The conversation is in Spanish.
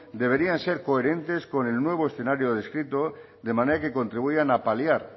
deberían ser coherentes con el nuevo escenario descrito de manera que contribuyan a paliar